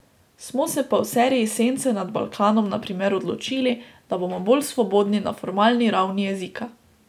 Smo se pa v seriji Sence nad Balkanom na primer odločili, da bomo bolj svobodni na formalni ravni jezika.